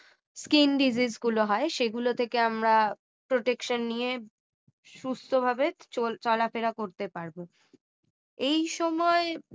skin disease গুলো হয় সেগুলো থেকে আমরা protection নিয়ে সুস্থ ভাবে চলাফেরা করতে পারব এই সময়